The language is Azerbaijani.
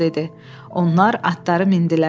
Onlar atları mindilər.